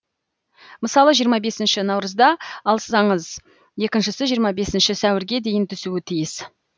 мысалы жиырма бесінші наурызда алсаңыз екіншісі жиырма бесінші сәуірге дейін түсуі тиіс